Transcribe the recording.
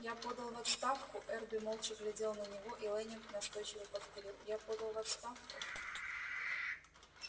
я подал в отставку эрби молча глядел на него и лэннинг настойчиво повторил я подал в отставку